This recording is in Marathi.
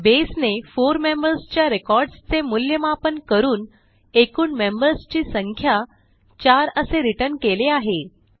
बसे ने 4 मेंबर्स च्या रेकॉर्डसचे मूल्यमापन करून एकूण मेंबर्स ची संख्या 4 असे रिटर्न केले आहे